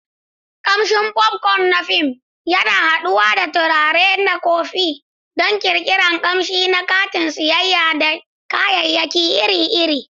Kamshin popcorn na fim yana haɗuwa da turare da kofi don ƙirƙirar ƙamshi na kantin sayar da kayayyaki iri-iri.